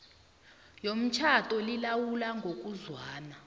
yomtjhado lilawulwa ngokuzwana